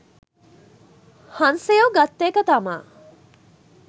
හංසයෝ ගත්ත එක තමා